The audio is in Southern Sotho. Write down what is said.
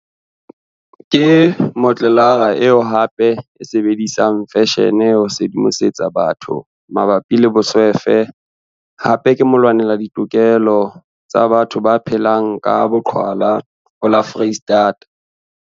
Ke motlolara eo hape a sebedisang feshene ho sedimosetsa batho mabapi le boswefe hape ke molwanela ditokelo wa batho ba phelang ka boqhwala ho la Foreistata.